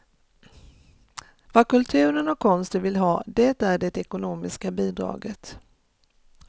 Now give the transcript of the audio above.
Vad kulturen och konsten vill ha, det är det ekonomiska bidraget.